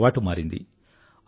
అతడి అలవాటు మారింది